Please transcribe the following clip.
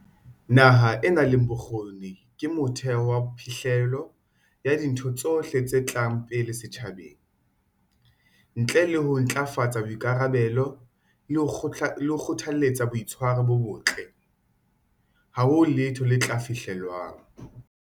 Naha e nang le bokgoni ke motheo wa phihlello ya dintho tsohle tse tlang pele setjhabeng. Ntle le ho ntlafatsa boikarabello le ho kgothaletsa boitshwaro bo botle, ha ho letho le tla fihlellwang.